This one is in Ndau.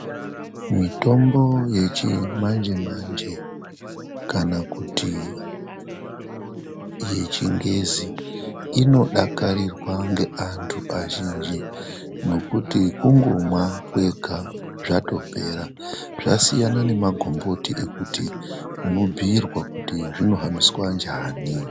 Mitombo yechimanje manje kana kuti yechingezi inodakarurwa ngeantu azhinji nekuti kungomwa kwega zvatopera. Zvasiyana nemagumboti ekuti unobhuyirwa kuti zvinohambiswa njani.